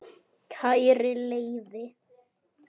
Kæri Leifi,